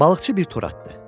Balıqçı bir tor atdı.